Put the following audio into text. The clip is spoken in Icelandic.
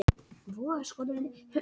Sigurborg, áttu tyggjó?